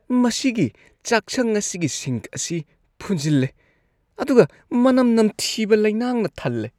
ꯃꯁꯤꯒꯤ ꯆꯥꯛꯁꯪ ꯑꯁꯤꯒꯤ ꯁꯤꯡꯛ ꯑꯁꯤ ꯐꯨꯟꯖꯤꯜꯂꯦ ꯑꯗꯨꯒ ꯃꯅꯝ ꯅꯝꯊꯤꯕ ꯂꯩꯅꯥꯡꯅ ꯊꯜꯂꯦ꯫